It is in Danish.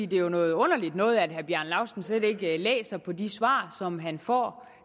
det jo er noget underligt noget at herre bjarne laustsen slet ikke læser på de svar som han får